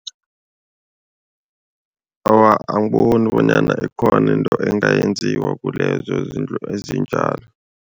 Awa, angiboni bonyana ikhona into engayenziwa kulezo izindlu ezinjalo.